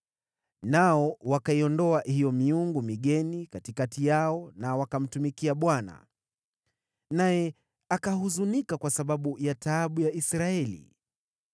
Nao wakaiondoa hiyo miungu migeni katikati yao nao wakamtumikia Bwana . Naye akahuzunika kwa sababu ya taabu ya Israeli.